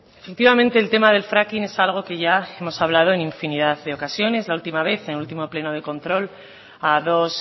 efectivamente el tema de fracking es algo que ya hemos hablado en infinidad de ocasiones la última vez en el último pleno de control a dos